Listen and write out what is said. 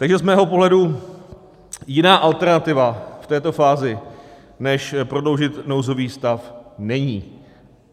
Takže z mého pohledu jiná alternativa v této fázi než prodloužit nouzový stav není.